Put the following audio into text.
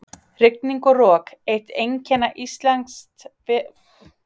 Rigning og rok- eitt einkenna íslensks veðurlags.